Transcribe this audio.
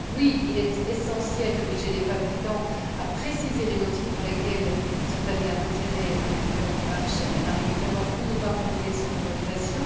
Oui, il est essentiel d'obliger les fabricants à préciser les motifs pour lesquels ils sont amenés à retirer un médicament du marché ou à ne pas renouveler son autorisation.